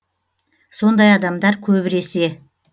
сондай адамдар көбіресе